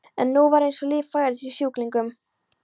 En nú var eins og líf færðist í sjúklinginn.